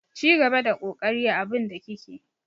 Cigaba da kokari a abun da kike.